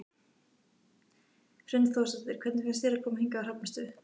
Hrund Þórsdóttir: Hvernig finnst þér að koma hingað á Hrafnistu?